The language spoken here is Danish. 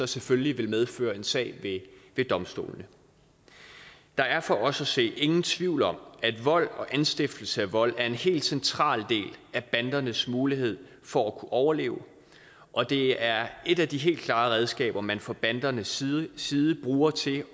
selvfølgelig vil medføre en sag ved domstolene der er for os at se ingen tvivl om at vold og anstiftelse af vold er en helt central del af bandernes mulighed for at overleve og det er et af de helt klare redskaber man fra bandernes side side bruger til